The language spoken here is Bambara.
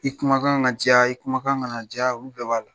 I kumakan ka jɛya i kumakan kana jɛiya olu bɛɛ b'a la.